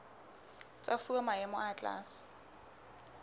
tsa fuwa maemo a tlase